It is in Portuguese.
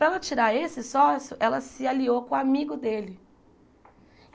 Para ela tirar esse sócio, ela se aliou com o amigo dele.